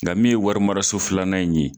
Nka min ye warimaraso filanan in ye.